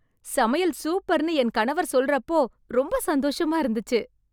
சமையல் சூப்பர்னு என் கணவர் சொல்ற அப்பொ ரொம்ப சந்தோஷமா இருந்துச்சு